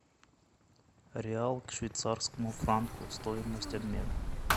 реал к швейцарскому франку стоимость обмена